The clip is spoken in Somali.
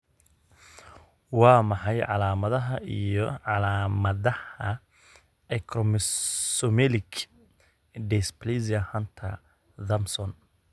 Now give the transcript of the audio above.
Waa maxay calaamadaha iyo calaamadaha Acromesomelic dysplasia Hunter Thompson?